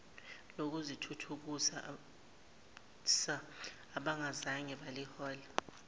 lokuzithuthukisa abangazange balithola